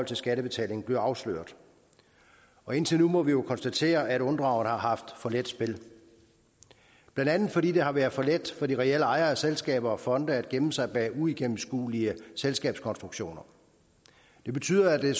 til skattebetalingen bliver afsløret indtil nu må vi jo konstatere at unddragerne har haft for let spil blandt andet fordi det har været for let for de reelle ejere af selskaber og fonde at gemme sig bag uigennemskuelige selskabskonstruktioner det betyder at det